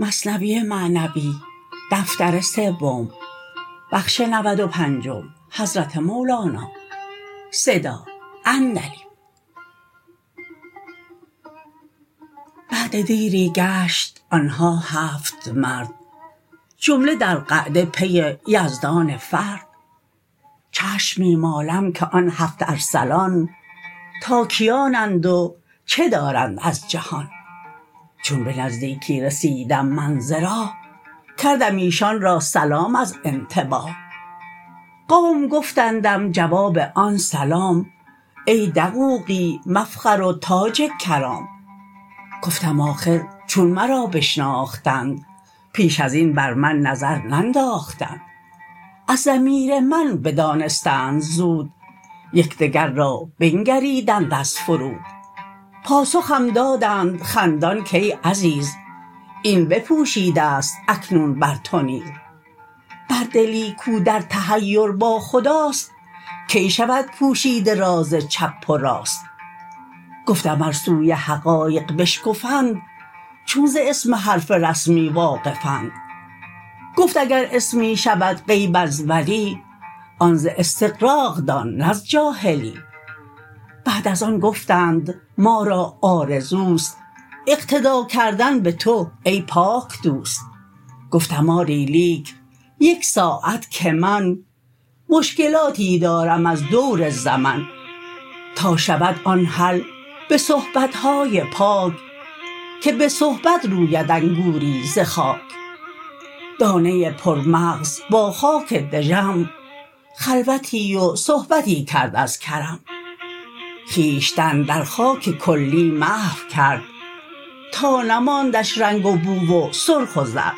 بعد دیری گشت آنها هفت مرد جمله در قعده پی یزدان فرد چشم می مالم که آن هفت ارسلان تا کیانند و چه دارند از جهان چون به نزدیکی رسیدم من ز راه کردم ایشان را سلام از انتباه قوم گفتندم جواب آن سلام ای دقوقی مفخر و تاج کرام گفتم آخر چون مرا بشناختند پیش ازین بر من نظر ننداختند از ضمیر من بدانستند زود یکدگر را بنگریدند از فرود پاسخم دادند خندان کای عزیز این بپوشیدست اکنون بر تو نیز بر دلی کو در تحیر با خداست کی شود پوشیده راز چپ و راست گفتم ار سوی حقایق بشگفند چون ز اسم حرف رسمی واقفند گفت اگر اسمی شود غیب از ولی آن ز استغراق دان نه از جاهلی بعد از آن گفتند ما را آرزوست اقتدا کردن به تو ای پاک دوست گفتم آری لیک یک ساعت که من مشکلاتی دارم از دور زمن تا شود آن حل به صحبتهای پاک که به صحبت روید انگوری ز خاک دانه پرمغز با خاک دژم خلوتی و صحبتی کرد از کرم خویشتن در خاک کلی محو کرد تا نماندش رنگ و بو و سرخ و زرد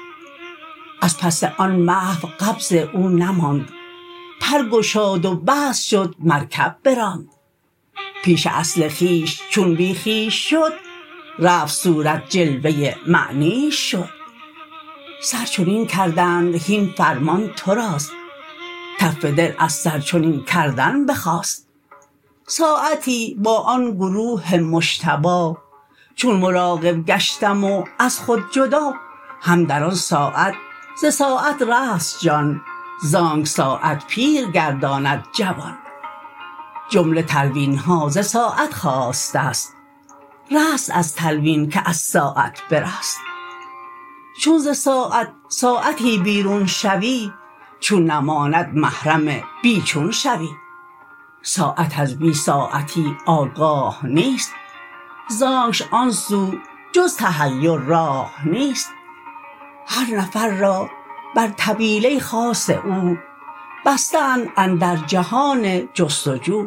از پس آن محو قبض او نماند پرگشاد و بسط شد مرکب براند پیش اصل خویش چون بی خویش شد رفت صورت جلوه معنیش شد سر چنین کردند هین فرمان توراست تف دل از سر چنین کردن بخاست ساعتی با آن گروه مجتبی چون مراقب گشتم و از خود جدا هم در آن ساعت ز ساعت رست جان زانک ساعت پیر گرداند جوان جمله تلوینها ز ساعت خاستست رست از تلوین که از ساعت برست چون ز ساعت ساعتی بیرون شوی چون نماند محرم بی چون شوی ساعت از بی ساعتی آگاه نیست زانکش آن سو جز تحیر راه نیست هر نفر را بر طویله خاص او بسته اند اندر جهان جست و جو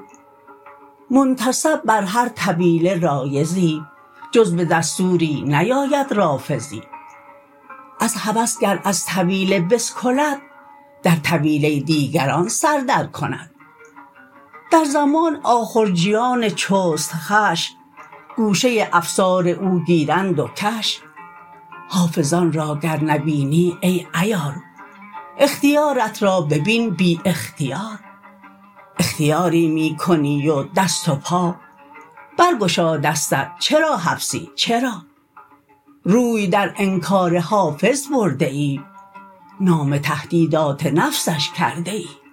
منتصب بر هر طویله رایضی جز بدستوری نیاید رافضی از هوس گر از طویله بسکلد در طویله دیگران سر در کند در زمان آخرجیان چست خوش گوشه افسار او گیرند و کش حافظان را گر نبینی ای عیار اختیارت را ببین بی اختیار اختیاری می کنی و دست و پا برگشا دستت چرا حبسی چرا روی در انکار حافظ برده ای نام تهدیدات نفسش کرده ای